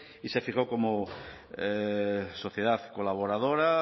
y se fijó como sociedad colaboradora